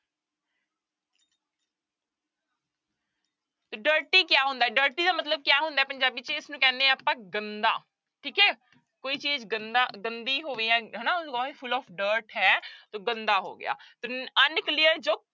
ਤੋ dirty ਕਿਆ ਹੁੰਦਾ ਹੈ dirty ਦਾ ਮਤਲਬ ਕਿਆ ਹੁੰਦਾ ਹੈ ਪੰਜਾਬੀ ਚ ਇਸਨੂੰ ਕਹਿੰਦੇ ਹਨ ਆਪਾਂ ਗੰਦਾ, ਠੀਕ ਹੈ ਕੋਈ ਚੀਜ਼ ਗੰਦਾ ਗੰਦੀ ਹੋਵੇ ਜਾਂ ਹਨਾ full of dirt ਹੈ ਤੋ ਗੰਦਾ ਹੋ ਗਿਆ ਤੇ unclear ਜੋ